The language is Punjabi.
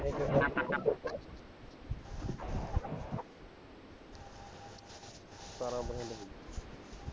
ਸਤਾਰਾਂ percent ਪਈ ਹੈ